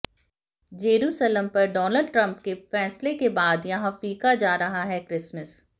Jerusalem पर Donald Trump के फैसले के बाद यहां फीका जा रहा है क्रिसमस